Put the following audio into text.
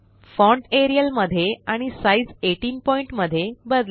font Arial मध्ये आणि साइझ18 पॉइंट मध्ये बदला